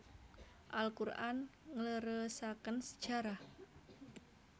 Al Quran ngleresaken sejarah